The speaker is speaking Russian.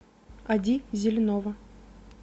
ади зеленова